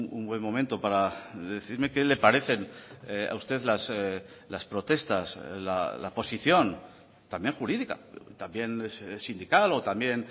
un buen momento para decirme que le parecen a usted las protestas la posición también jurídica también sindical o también